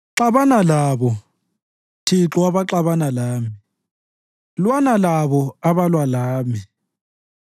Xabana labo, Thixo abaxabana lami; lwana labo abalwa lami.